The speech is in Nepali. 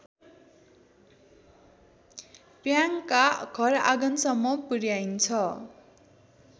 प्याङका घरआँगनसम्म पुर्‍याइन्छ